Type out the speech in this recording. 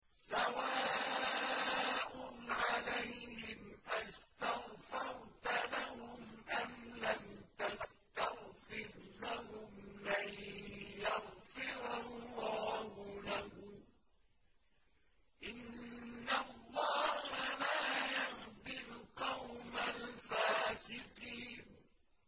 سَوَاءٌ عَلَيْهِمْ أَسْتَغْفَرْتَ لَهُمْ أَمْ لَمْ تَسْتَغْفِرْ لَهُمْ لَن يَغْفِرَ اللَّهُ لَهُمْ ۚ إِنَّ اللَّهَ لَا يَهْدِي الْقَوْمَ الْفَاسِقِينَ